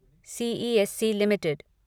C E S C limited